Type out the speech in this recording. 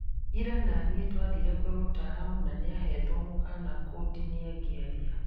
Ira na nĩe twathire kwĩ mtaalamu na nìabetwo mũkana kũndinia ngĩaria